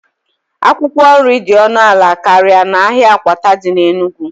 Akwụkwọ nri dị ọnụ ala karịa n'ahịa akwata dị n'Enugwu